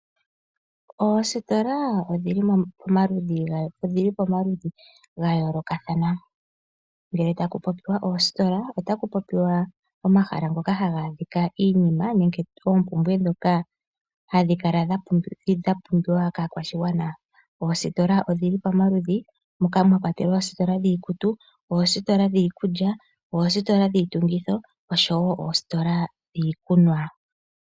Oositola odhi li pamaludhi ga yoolokathana. Ngele taku popiwa oositola otaku popiwa omahala ngoka haga adhika iinima nenge oompumbwe ndhoka hadhi kala dha pumbiwa kaakwashigwana. Oositola odhi li pamaludhi moka mwa kwatelwa oositola dhiikutu, oositola dhiikulya, oositola dhiitungitho noshowo oositola dhiikunwa.